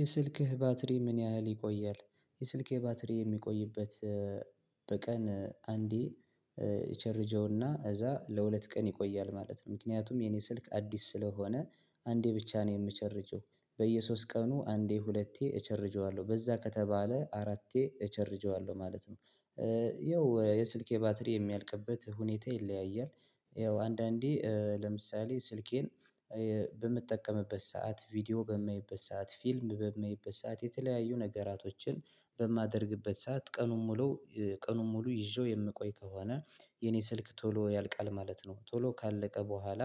የስልክህ ባትሪ ምን ያህል ይቆያል? የስልኬ ባትሪ የሚቆይበት በቀን አንዴ ይቸርጀውና እዛ ለሁለት ቀን ይቆያል ማለት ነው። ምክንያቱም የኔ ስልክ አዲስ ስለሆነ አንዴ ብቻ ነው የምቸርጀው። በየሶስት ቀኑ አንዴ ሁለቴ እቸርጀዋለሁ በዛ ከተባለ አራቴ እቸርጀዋለሁ ማለት ነው። ይኸው የስልኬ ባትሪ የሚያልቅበት ሁኔታ ይለያያል። ይኸው አንዳንዴ ለምሳሌ ስልኬን በምጠቀምበት ሰዓት ቪዲዮ በማየበት ሰዓት ፊልም በመይበዝ ሰዓት የተለያዩ ነገራቶችን በማደርግበት ሰዓት ቀኑን ሙሉ ቀኑን ሙሉ ይዤው የምቆይ ከሆነ የኔ ስልክ ቶሎ ያልቃል ማለት ነው። ቶሎ ካለቀ በኋላ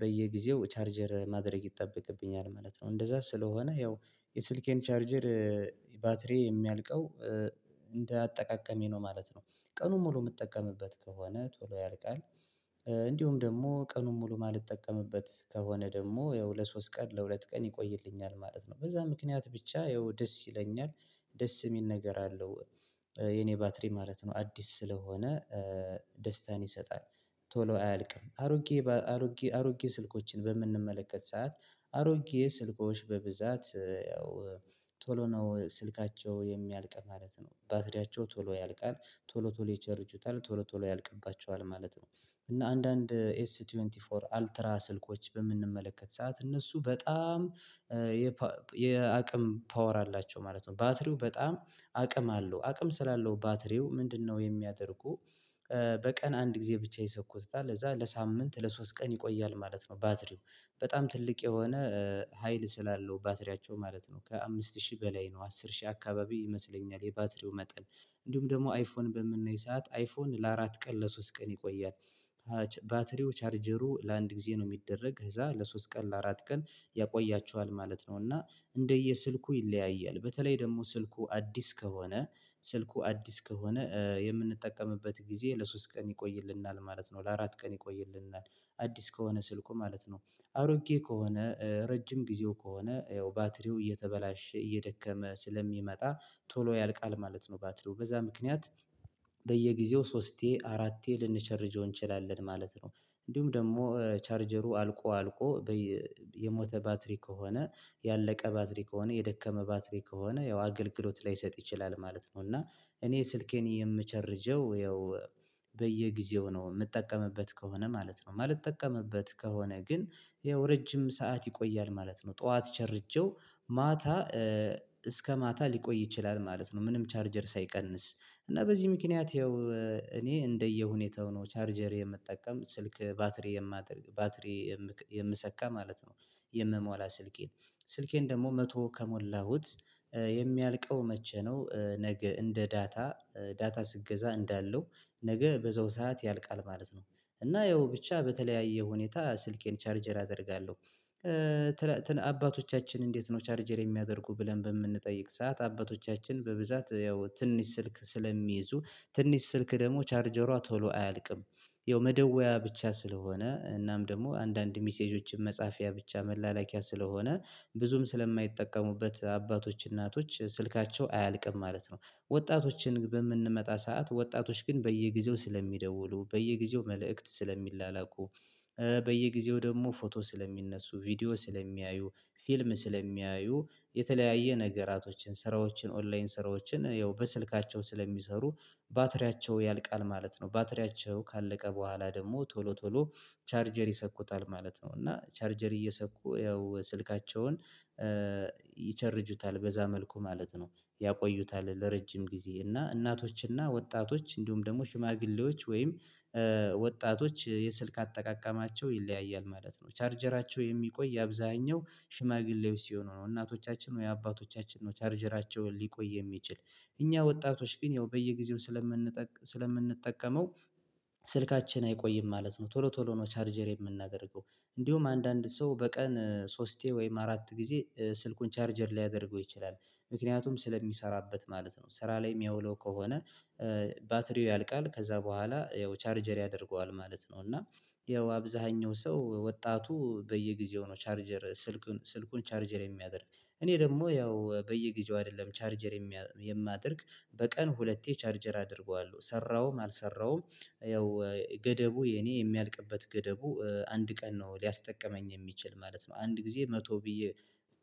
በየጊዜው ቻርጀር ማድረግ ይጠበቅብኛል ማለት ነው። እንደዛ ስለሆነ ያው የስልኬን ቻርጀር ባትሪ የሚያልቀው እንደ አጠቃቀሜ ነው ማለት ነው። ቀኑን ሙሉ የምጠቀምበት ከሆነ ቶሎ ያልቃል። እንዲሁም ደግሞ ቀኑን ሙሉ ማልጠቀምበት ከሆነ ደግሞ ያው ለሶስት ቀን ለሁለት ቀን ይቆይልኛል ማለት ነው። በዛ ምክንያት ብቻ ያው ደስ ይለኛል። ደስ የሚል ነገር አለው። የኔ ባትሪ ማለት ነው አዲስ ስለሆነ። ደስታን ይሰጣል። ቶሎ አያልቅም አሮጌ አሮጌ አሮጌ ስልኮችን በምንመለከት ሰዓት አሮጌ ስልኮች በብዛት ያው ቶሎ ነው ስልካቸው የሚያልቅ ማለት ነው ባትሪያቸው ቶሎ ያልቃል። ቶሎ ቶሎ ይቸርቹታል ቶሎ ቶሎ ያልቅባቸዋል ማለት ነው። እና አንዳንድ ኤስ ሃያ አራት አልትራ ስልኮች በምንመለከት ሰዓት እነሱ በጣም የአቅም ፓወር አላቸው ማለት ነው። ባትሪው በጣም አቅም አለው አቅም ስላለው ባትሪው ምንድነው የሚያደርጉ? በቀን አንድ ጊዜ ብቻ ይሰኩታል ለዛ ለሳምንት ለሶስት ቀን ይቆያል ማለት ነው። ባትሪው በጣም ትልቅ የሆነ ሀይል ስላለው ባትሪያቸው ማለት ነው ከአምስት ሺህ በላይ ነው አስር ሺህ አካባቢ ይመስለኛል። የባትሪው መጠን። እንዲሁም ደግሞ አይፎን በምናይ ሰዓት አይፎን ለአራት ቀን ለሶስት ቀን ይቆያል። ባትሪው ቻርጀሩ ለአንድ ጊዜ ነው የሚደረግ ከዛ ለሶስት ቀን ለአራት ቀን ያቆያችኋል ማለት ነው። እና እንደየ ስልኩ ይለያያል። በተለይ ደግሞ ስልኩ አዲስ ከሆነ ስልኩ አዲስ ከሆነ የምንጠቀምበት ጊዜ ለሶስት ቀን ይቆይልናል ማለት ነው። ለአራት ቀን ይቆይልናል አዲስ ከሆነ ስልኩ ማለት ነው። አሮጌ ከሆነ ረጅም ጊዜው ከሆነ ያው ባትሪው እየተበላሸ እየደከመ ስለሚመጣ ቶሎ ያልቃል ማለት ነው። ባትሪው በዛ ምክንያት በየጊዜው ሶስቴ አራቴ ልንቸርጀው እንችላለን ማለት ነው። እንዲሁም ደግሞ ቻርጀሩ አልቆ አልቆ የሞተ ባትሪ ከሆነ ያለቀ ባትሪ ከሆነ የደከመ ባትሪ ከሆነ ያው አገልግሎት ላይሰጥ ይችላል ማለት ነው። እና እኔ ስልኬን የምቸርጀው ያው በየጊዜው ነው የምጠቀምበት ከሆነ ማለት ነው። ማልጠቀምበት ከሆነ ግን ያው ረጅም ሰዓት ይቆያል ማለት ነው። ጠዋት ቸርጄው ማታ እስከ ማታ ሊቆይ ይችላል ማለት ነው። ምንም ቻርጀር ሳይቀንስ እና በዚህ ምክንያት ያው እኔ እንደየሁኔታው ነው ቻርጀር የምጠቀም ስልክ ባትሪ የማደርግ ባትሪ የምሰካ ማለት ነው። የምሞላ ስልኬን ስልኬን ደግሞ መቶ ከሞላሁት የሚያልቀው መቼ ነው? ነገ እንደ ዳታ ዳታ ስትገዛ እንዳለው ነገ በዛው ሰዓት ያልቃል ማለት ነው። እና ያው ብቻ በተለያየ ሁኔታ ስልኬን ቻርጀር አደርጋለሁ። አባቶቻችን እንዴት ነው? ቻርጀር የሚያደርጉ ብለን በምንጠይቅ ሰዓት አባቶቻችን በብዛት ያው ትንሽ ስልክ ስለሚይዙ ትንሽ ስልክ ደግሞ ቻርጀሯ ቶሎ አያልቅም። ያው መደወያ ብቻ ስለሆነ እናም ደግሞ አንዳንድ ሚሴጆችን መጽሐፊያ ብቻ መላላኪያ ስለሆነ ብዙም ስለማይጠቀሙበት አባቶች እናቶች ስልካቸው አያልቅም ማለት ነው። ወጣቶችን በምንመጣ ሰዓት ወጣቶች ግን በየጊዜው ስለሚደውሉ በየጊዜው መልእክት ስለሚላላኩ በየጊዜው ደግሞ ፎቶ ስለሚነሱ ቪዲዮ ስለሚያዩ ፊልም ስለሚያዩ የተለያየ ነገራቶችን ስራዎችን ኦንላይን ስራዎችን ያው በስልካቸው ስለሚሰሩ ባትሪያቸው ያልቃል ማለት ነው። ባትሪያቸው ካለቀ በኋላ ደግሞ ቶሎ ቶሎ ቻርጀር ይሰኩታል ማለት ነው። እና ቻርጀር እየሰኩ ያው ስልካቸውን ይቸርጁታል በዛ መልኩ ማለት ነው። ያቆዩታል ለረጅም ጊዜ እና እናቶች እና ወጣቶች እንዲሁም ደግሞ ሽማግሌዎች ወይም ወጣቶች የስልክ አጠቃቀማቸው ይለያያል ማለት ነው። ቻርጀራቸው የሚቆይ የአብዛኛው ሽማግሌዎች ሲሆኑ ነው እናቶቻችን ወይ አባቶቻችን ነው ቻርጀራቸውን ሊቆይ የሚችል እኛ ወጣቶች ግን ያው በየጊዜው ስለምንጠቀም ስለምንጠቅ ስለምንጠቀመው ስልካችን አይቆይም ማለት ነው ቶሎ ቶሎ ነው ቻርጀር የምናደርገው። እንዲሁም አንዳንድ ሰው በቀን ሶስቴ ወይም አራት ጊዜ ስልኩን ቻርጀር ሊያደርገው ይችላል። ምክንያቱም ስለሚሰራበት ማለት ነው ስራ ላይ የሚያውለው ከሆነ ባትሪው ያልቃል ከዛ በኋላ ያው ቻርጀር ያደርገዋል ማለት ነው። እና ያው አብዛኛው ሰው ወጣቱ በየጊዜው ነው ቻርጀር ስልኩን ስልኩን ቻርጀር የሚያደርግ። እኔ ደግሞ ያው በየጊዜው አይደለም ቻርጀር የማደርግ። በቀን ሁለቴ ቻርጀር አደርገዋለሁ ሰራሁም አልሰራሁም ያው ገደቡ የኔ የሚያልቅበት ገደቡ አንድ ቀን ነው ሊያስጠቅመኝ የሚችል ማለት ነው። አንድ ጊዜ መቶ ብዬ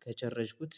ከጨረሽኩት